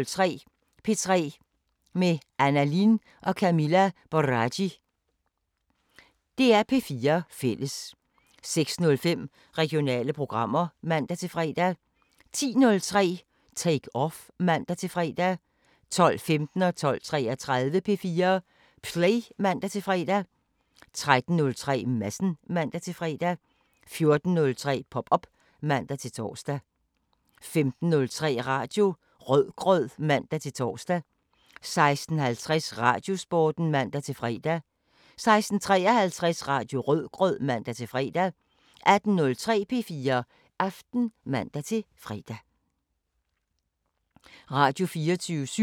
05:30: Vagn på floden (3:11) 06:10: Ude i naturen: Saltholm (Afs. 1) 06:40: Kongerigets kager (6:12) 07:10: Danmarks bedste bonderøv (3:8) 07:50: Vores planet 2 (5:6)* 08:50: En ny begyndelse II (Afs. 1) 09:35: Antikviteter – fra yt til nyt (19:20)* 10:00: Antikviteter – fra yt til nyt (20:20)* 10:30: Antikkrejlerne (Afs. 317) 11:15: Antikkrejlerne (Afs. 318)